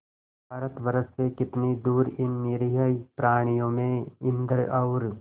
भारतवर्ष से कितनी दूर इन निरीह प्राणियों में इंद्र और